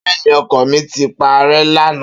Beeni oko mi ti pare lana.